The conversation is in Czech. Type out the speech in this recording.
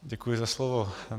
Děkuji za slovo.